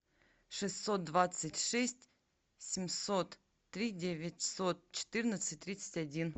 шестьсот двадцать шесть семьсот три девятьсот четырнадцать тридцать один